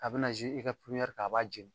A bɛna i ka ɲɛri ka, a b'a jeni